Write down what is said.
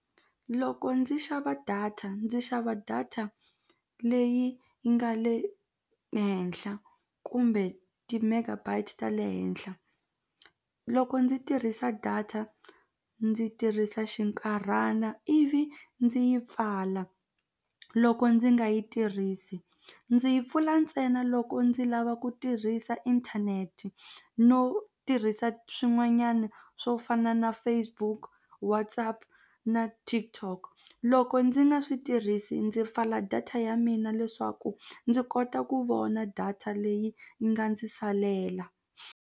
Loko ndzi xava data ndzi xava data leyi yi nga le henhla kumbe ti-megabytes ta le henhla loko ndzi tirhisa data ndzi tirhisa xinkarhana ivi ndzi yi pfala loko ndzi nga yi tirhisi ndzi yi pfula ntsena loko ndzi lava ku tirhisa inthanete no tirhisa swin'wanyana swo fana na Facebook, WhatsApp na TikTok loko ndzi nga swi tirhisi ndzi pfala data ya mina leswaku ndzi kota ku vona data leyi yi nga ndzi salela.